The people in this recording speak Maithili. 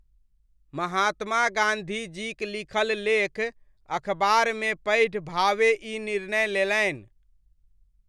महात्मा गाँधीजीक लिखल लेख अखबारमे पढ़ि भावे ई निर्णय लेलनि।